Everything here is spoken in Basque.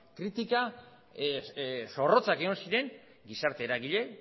kritika zorrotzak egon ziren gizarte eragile